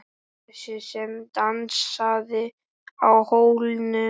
Þessi sem dansaði á hólnum.